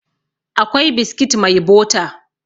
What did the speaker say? akwai biskit mai bota